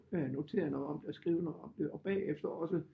Øh notere noget om det og skrive noget om det og bagefter også